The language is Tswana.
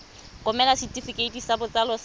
romela setefikeiti sa botsalo sa